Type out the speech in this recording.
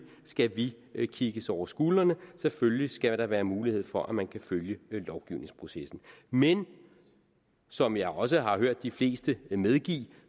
skal vi vi kigges over skuldrene selvfølgelig skal der være mulighed for at man kan følge lovgivningsprocessen men som jeg også har hørt de fleste medgive